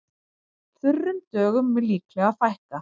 Þurrum dögum mun líklega fækka